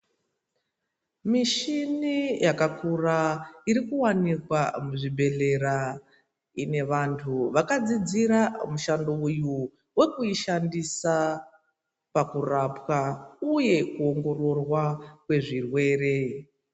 Mishina yakakura inowanikwa muzvibhedhlera ine vantu vakadzidzira mishando iyo vakuishandusa pakurapwa uye kuongororwa kwezvirwere.